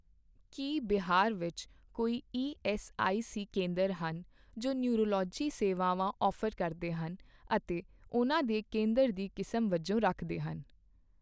ਕੀ ਬਿਹਾਰ ਵਿੱਚ ਕੋਈ ਈਐੱਸਆਈਸੀ ਕੇਂਦਰ ਹਨ ਜੋ ਨਿਊਰੋਲੌਜੀ ਸੇਵਾਵਾਂ ਦੀ ਔਫ਼ਰ ਕਰਦੇ ਹਨ ਅਤੇ ਨੂੰ ਉਹਨਾਂ ਦੇ ਕੇਂਦਰ ਦੀ ਕਿਸਮ ਵਜੋਂ ਰੱਖਦੇ ਹਨ?